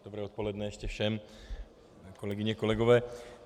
Dobré odpoledne ještě všem, kolegyně, kolegové.